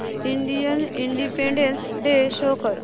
Indian independence day show कर